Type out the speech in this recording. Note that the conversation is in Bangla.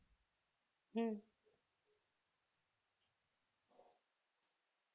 হুম